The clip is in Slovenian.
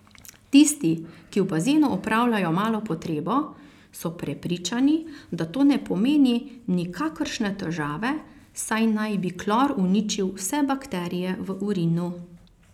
Tisti, ki v bazenu opravljajo malo potrebo, so prepričani, da to ne pomeni nikakršne težave, saj naj bi klor uničil vse bakterije v urinu.